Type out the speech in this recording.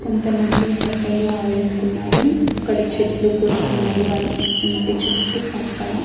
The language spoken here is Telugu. కొంతమంది బట్టలు ఆరేసుకున్నారు అక్కడ చెట్లు కూడా ఉన్నాయి వాళ్ళు ఇంటి చుట్టూ పక్కల.